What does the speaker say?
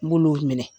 N b'olu minɛ